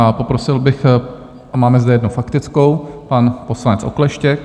A poprosil bych, máme zde jednu faktickou, pan poslanec Okleštěk.